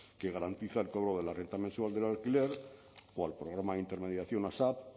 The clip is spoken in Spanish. que garantiza el cobro de la renta mensual del alquiler o al programa de intermediación asap